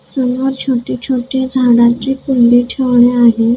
समोर छोटी छोटी झाडांची कुंडी ठेवली आहे.